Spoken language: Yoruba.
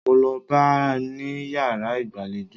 Mo lọ bá a ní yàrá ìgbàlejò.